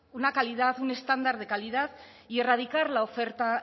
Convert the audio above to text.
una calidad un estándar de calidad y erradicar la oferta